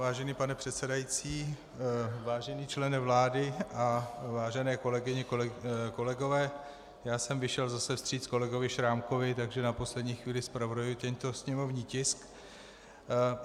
Vážený pane předsedající, vážený člene vlády a vážené kolegyně, kolegové, já jsem vyšel zase vstříc kolegovi Šrámkovi, takže na poslední chvíli zpravodajuji tento sněmovní tisk.